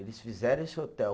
Eles fizeram esse hotel.